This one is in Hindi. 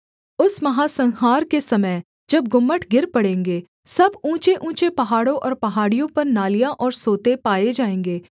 उस महासंहार के समय जब गुम्मट गिर पड़ेंगे सब ऊँचेऊँचे पहाड़ों और पहाड़ियों पर नालियाँ और सोते पाए जाएँगे